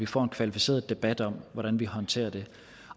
får en kvalificeret debat om hvordan vi håndterer det